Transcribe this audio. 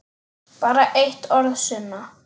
Bara eitt orð, Sunna.